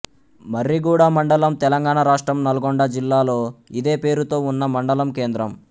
మర్రిగూడ మండలం తెలంగాణ రాష్ట్రం నల్గొండ జిల్లాలో ఇదే పేరుతో ఉన్న మండలం కేంద్రం